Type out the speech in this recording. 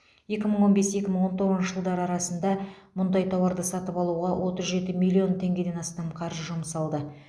екі мың он бес екі мың он тоғызыншы жылдар арасында мұндай тауарды сатып алуға отыз жеті миллион теңгеден астам қаржы жұмсалды